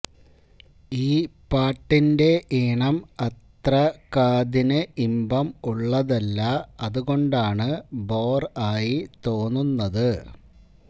ഈ പാട്ട് ന്റെ ഈണം അത്ര കാതിനു ഇമ്പം ഉള്ളതല്ല അതുകൊണ്ടാണ് ബോർ ആയി തോന്നുന്നത്